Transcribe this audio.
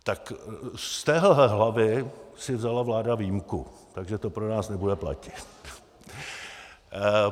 Tak z téhle hlavy si vzala vláda výjimku, takže to pro nás nebude platit.